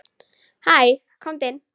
Hæ, komdu inn.